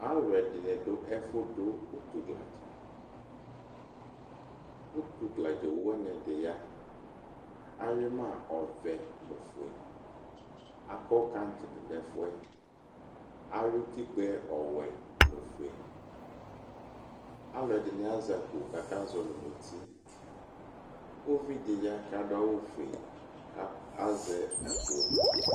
Alʋ ɛdini dʋ ɛfʋdʋ ʋtʋ gladza ʋtʋ gladza owʋ wani ɛdiya awui ma ɔvɛ nʋ ofʋe akɔ kart dʋnʋ ɛfʋɛ ayʋ itikpzɛ ɔvɛ nʋ ofʋe alʋ ɛdini azɛ akpo kʋ aka zɔli nʋ ʋti ʋvidi ya kʋ adʋ adʋfue kʋ azɛ akpo